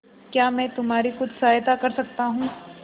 क्या मैं तुम्हारी कुछ सहायता कर सकता हूं